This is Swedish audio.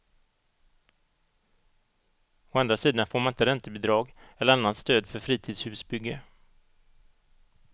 Å andra sidan får man inte räntebidrag eller annat stöd för fritidshusbygge.